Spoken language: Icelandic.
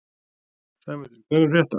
Sæmundur, hvað er að frétta?